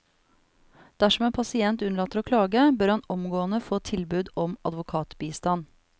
Dersom en pasient unnlater å klage, bør han omgående få tilbud om advokatbistand.